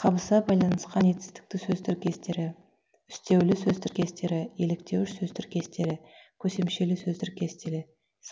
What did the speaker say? қабыса байланысқан етістікті сөз тіркестері үстеулі сөз тіркестері еліктеуіш сөз тіркестері көсемшелі сөз тіркестері